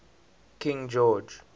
king george